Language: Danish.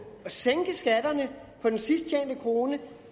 at sænke skatterne på den sidst tjente krone